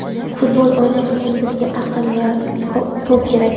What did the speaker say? Futbol o‘ynash uchun bizga aql va to‘p kerak.